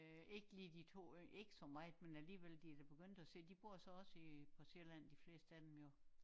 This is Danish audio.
Øh ikke lige de to yngste ikke så meget men alliegvel de da begyndt at se de bor så også i på Sjælland de fleste af dem jo